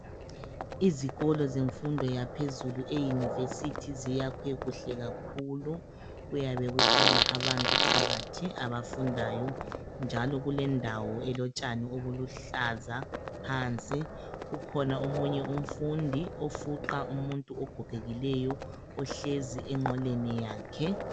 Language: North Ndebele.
Izikolo zemfundo yaphezulu eyunivesithi ziyakhwe kuhle kakhulu. Kuyabe kukhona abantu phakathi abafundayo njalo kulendawo elotshani obuluhlaza phansi. Ukhona omunye umfundi ofuqa umuntu ogogekileyo ohlezi enqoleni yakhe.